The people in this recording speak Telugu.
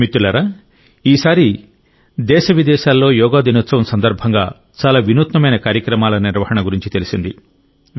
మిత్రులారా ఈ సారి దేశ విదేశాల్లో యోగా దినోత్సవం సందర్భంగా చాలా వినూత్నమైన కార్యక్రమాల నిర్వహణ గురించి తెలిసింది